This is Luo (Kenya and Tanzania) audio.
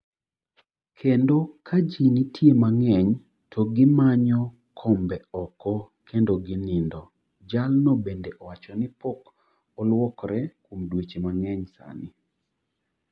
Kendo ka ji nitie mang’eny to gimanyo kombe oko kendo gi nindo,” jal no bende owacho ni pok oluokre kuom dweche mang’eny sani.